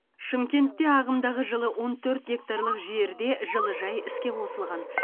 шымкентте ағымдағы жылы он төрт гектарлы жерге жылыжай іске қосылған